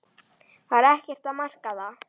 Var ekkert að marka það?